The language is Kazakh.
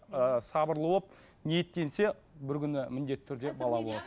ыыы сабырлы болып ниеттенсе бір күні міндетті түрде бала